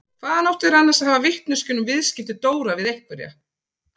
Hvaðan áttu þeir annars að hafa vitneskjuna um viðskipti Dóra við einhverja?